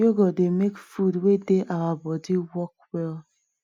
yoghurt dey make food wey dey our body work well